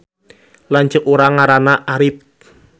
Lanceuk urang ngaranna Arip